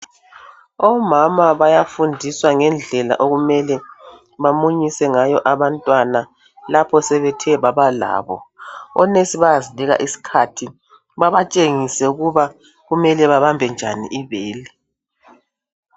Omama bayafundiswa ngendlela okumele bamunyise ngayo abantwana lapha sebethe babalabo onurse bayasinika iskhathi babatshengise ukuba kumele bebambe njani ibele.